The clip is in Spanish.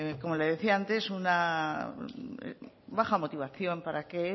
como le decía antes una baja motivación para que